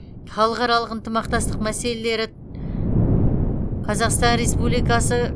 халықаралық ынтымақтастық мәселелері қазақстан республикасы